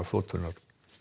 þotunnar